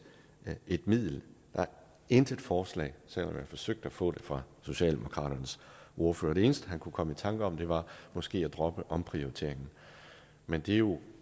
et middel der er intet forslag selv om man forsøgte at få det fra socialdemokratiets ordfører det eneste han kunne komme i tanker om var måske at droppe omprioriteringen men det er jo